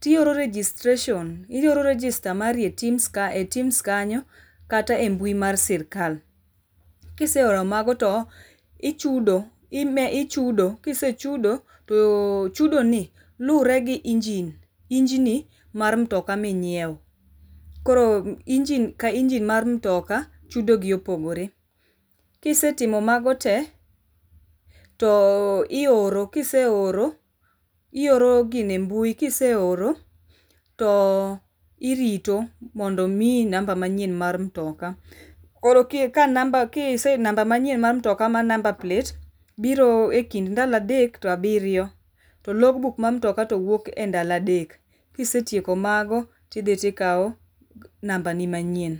to ioro registration, ioro register mari e tims kae e tims kanyo kata e mbui mar sirkal. Kiseoro mago to ichudo ,ichudo ,kisechudo to chudo ni luore gi engine, engine mar mtoka ma inyiew, koro engine ka engine mar mtoka chudo gi opogore. Kisetimo mago tee to ioro, kiseoro ioro gino e mbui, kiseoro to irito mondo miyi namba manyien mar mtoka. Koro ka namba, kise, namba manyien mar mtoka mar number plate biro ekind ndalo adek to abiro, to log book mar mtoka to wuok e ndalo adek. Kisetieko mago tidhi tikao namba ni manyien